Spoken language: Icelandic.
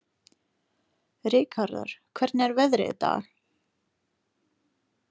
Rikharður, hvernig er veðrið í dag?